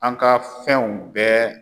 An ka fɛnw bɛɛ.